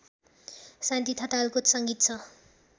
शान्ति ठटालको संगीत छ